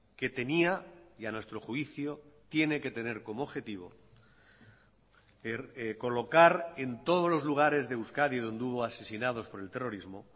que tenía y a nuestro juicio tiene que tener como objetivo colocar en todos los lugares de euskadi donde hubo asesinados por el terrorismo